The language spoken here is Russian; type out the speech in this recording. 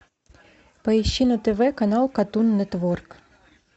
поищи на тв канал картун нетворк